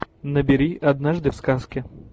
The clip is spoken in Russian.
набери однажды в сказке